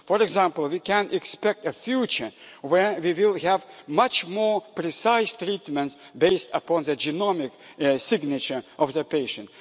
care. For example, we can expect a future where we will have much more precise treatments based upon the genomic signature of the patient.